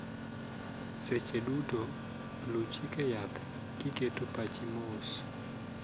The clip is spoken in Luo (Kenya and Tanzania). Seche duto, luu chike yath kiketo pachi mos.